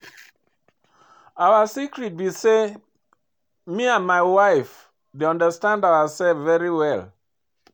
Our secret be say me and my wife dey understand ourselves very well